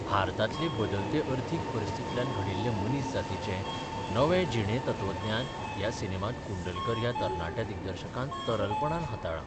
भारतांतले बदलते अर्थीक परिस्थितींतल्यान घडिल्लें मनीस जातीचें नवें जिणे-तत्वज्ञान ह्या सिनेमांत कुंडलकर ह्या तरणाट्या दिग्दर्शकान तरलपणान हाताळ्ळ i.